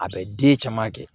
A bɛ den caman kɛ